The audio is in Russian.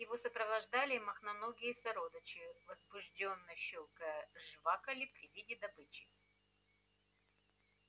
его сопровождали мохноногие сородичи возбуждённо щёлкая жвакали при виде добычи